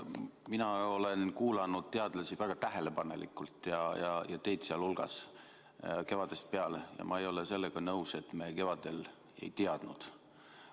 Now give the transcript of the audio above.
Mina olen kuulanud teadlasi väga tähelepanelikult, teid sealhulgas, kevadest peale ja ma ei ole sellega nõus, et me kevadel ei teadnud.